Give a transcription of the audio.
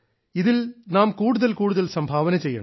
ഇതിൽ നാം കൂടുതൽ കൂടുതൽ സംഭാവന ചെയ്യണം